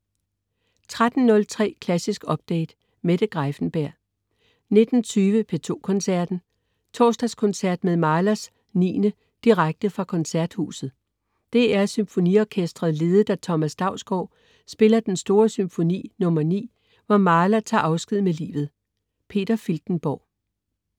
13.03 Klassisk Update. Mette Greiffenberg 19.20 P2 Koncerten. Torsdagskoncert med Mahlers 9. Direkte fra Koncerthuset. DR SymfoniOrkestret ledet af Thomas Dausgaard spiller den store Symfoni nr. 9, hvor Mahler tager afsked med livet. Peter Filtenborg